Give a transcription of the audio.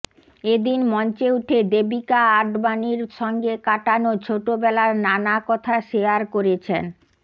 এদিন মঞ্চে উঠে দেবিকা আডবাণীর সঙ্গে কাটানো ছোটবেলার নানা কথা শেয়ার করেছেন